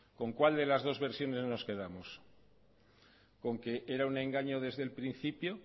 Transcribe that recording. con cuál de las dos versiones nos quedamos con que era un engaño desde el principio